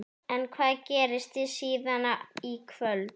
En hvað gerist síðan í kvöld?